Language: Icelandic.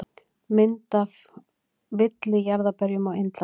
Mynd af villijarðarberjum á Indlandi.